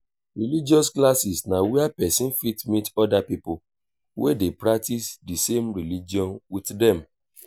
religious classes na where person fit meet oda pipo wey dey practice di same religion with dem